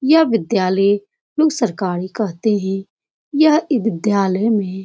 यह विद्यालय लोग सरकारी कहते हैं। यह अ विद्यालय में --